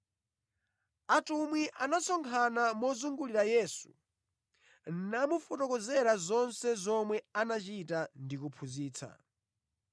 Atumwi anasonkhana mozungulira Yesu namufotokozera zonse zomwe anachita ndi kuphunzitsa.